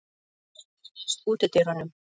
Ernir, læstu útidyrunum.